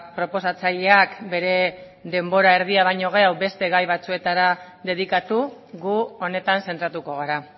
proposatzaileak bere denbora erdia baino gehiago beste gai batzuetara dedikatu gu honetan zentratuko gara